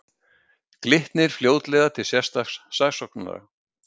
Glitnir fljótlega til sérstaks saksóknara